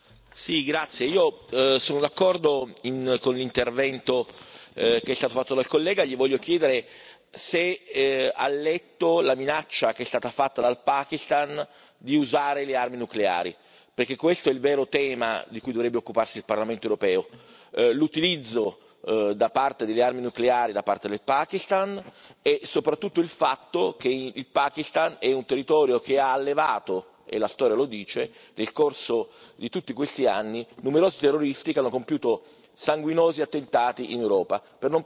io sono d'accordo con il Suo intervento e Le voglio chiedere se ha letto la minaccia che è stata fatta dal Pakistan di usare le armi nucleari, perché questo è il vero tema di cui dovrebbe occuparsi il Parlamento europeo l'utilizzo delle armi nucleari da parte del Pakistan e soprattutto il fatto che il Pakistan è un territorio che ha allevato e la storia lo dice nel corso di tutti questi anni numerosi terroristi, che hanno compiuto sanguinosi attentati in Europa, per non parlare poi